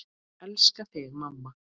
Ég elska þig, mamma.